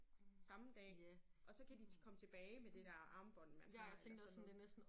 Samme dag og så kan de komme tilbage med det der armbånd man har eller sådan noget